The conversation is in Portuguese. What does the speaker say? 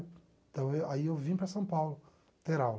Então, aí eu vim para São Paulo ter aula.